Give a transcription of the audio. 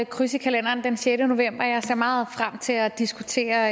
kryds i kalenderen den sjette november jeg ser meget frem til at diskutere